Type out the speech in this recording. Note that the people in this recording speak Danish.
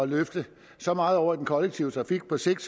løfte så meget over i den kollektive trafik på sigt